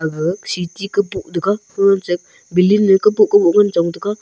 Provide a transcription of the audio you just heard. aga city kubow thega fu che building nu a kubow kubow ngan chong tega.